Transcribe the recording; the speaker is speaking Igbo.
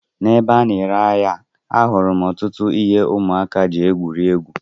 N'ebe a na-ere ahịa, ahụrụ m ọtụtụ ihe ụmụaka ji egwuri egwu.